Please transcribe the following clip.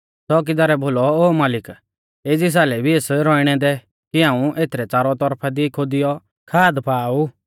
च़ोकीदारै बोलौ ओ मालिक एज़ी सालै भी एस रौअणै दै कि हाऊं एथरै च़ारौ तौरफा दी खोदियौ खाद पा आ ऊ